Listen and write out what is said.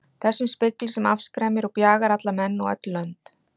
Þessum spegli sem afskræmir og bjagar alla menn og öll lönd.